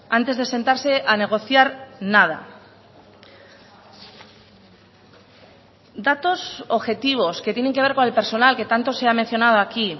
antes de sentarse a negociar nada datos objetivos que tienen que ver con el personal que tanto se ha mencionado aquí